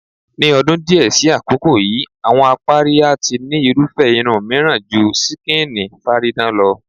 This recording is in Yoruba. Ní o̩dún díè̩ sí àkókò yìí, àwo̩n apárí a ti ní irúfé̩ irun mìíràn ju skíìnì/fáadán lo̩.